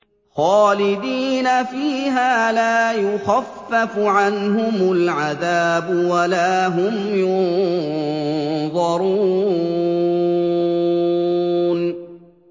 خَالِدِينَ فِيهَا لَا يُخَفَّفُ عَنْهُمُ الْعَذَابُ وَلَا هُمْ يُنظَرُونَ